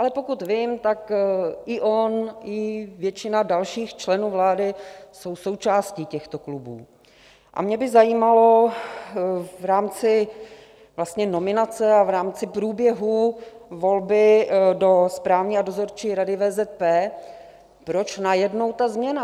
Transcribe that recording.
Ale pokud vím, tak i on, i většina dalších členů vlády jsou součástí těchto klubů, a mě by zajímalo v rámci nominace a v rámci průběhu volby do Správní a Dozorčí rady VZP, proč najednou ta změna.